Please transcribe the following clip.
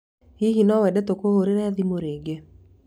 Hihi no wende tũkuhũũre thimũ rĩngĩ?